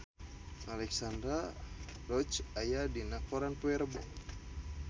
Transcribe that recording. Alexandra Roach aya dina koran poe Rebo